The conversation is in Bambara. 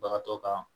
Bagatɔ kan